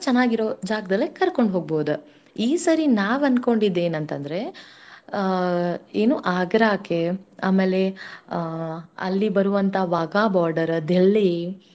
ಚನ್ನಾಗಿರೋ ಜಾಗ್ದಲ್ಲೇ ಕರ್ಕೊಂಡ್ ಹೋಗ್ಬೌದ. ಈ ಸರಿ ನಾವ್ ಅಂದ್ಕೊಂಡಿದ್ ಏನಂತಂದ್ರೆ ಆ ಏನು ಆ Agra ಕೆ ಆಮೇಲೆ ಅಲ್ಲಿ ಬರೂವಂತ Wagah border, Delhi